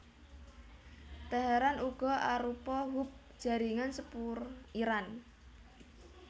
Teheran uga arupa hub jaringan sepur Iran